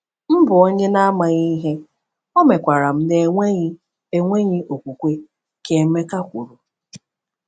“M bụ onye na-amaghị ihe, omekwara m na enweghị enweghị okwukwe,” ka Emeka kwuru.